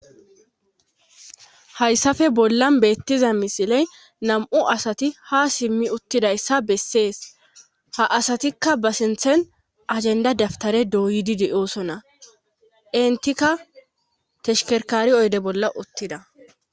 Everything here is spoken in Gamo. hayssafe bollan beettiza misiley nam7u asati ha simmi uttidayssa bessees ha asatikka ba sinthen ajenda daftare dooydi de7oosonna intika teshkerkari oyde bolla uttida